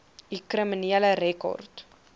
u kriminele rekord